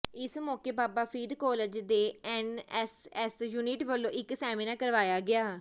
ਇਸ ਮੌਕੇ ਬਾਬਾ ਫ਼ਰੀਦ ਕਾਲਜ ਦੇ ਐੱਨਐੱਸਐੱਸ ਯੂਨਿਟ ਵੱਲੋਂ ਇੱਕ ਸੈਮੀਨਾਰ ਕਰਵਾਇਆ ਗਿਆ